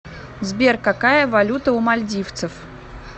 сбер какая валюта у мальдивцев